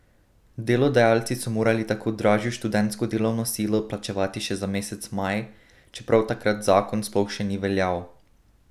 Delodajalci so morali tako dražjo študentsko delovno silo plačevati že za mesec maj, čeprav takrat zakon sploh še ni veljal.